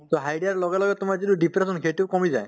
to হাঁহি দিয়াৰ লগে লগে তোমাৰ যিটো depression সেইটো কমি যায়